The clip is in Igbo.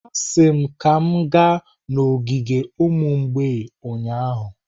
Asị m ka m gaa n'ogige ụmụ mgbei ụnyahụ!